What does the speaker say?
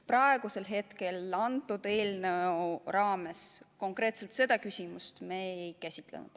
Praegu me selle eelnõu raames konkreetselt seda küsimust ei käsitlenud.